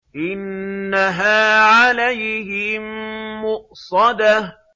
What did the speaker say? إِنَّهَا عَلَيْهِم مُّؤْصَدَةٌ